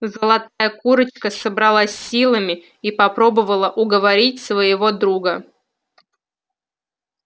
золотая курочка собралась с силами и попробовала уговорить своего друга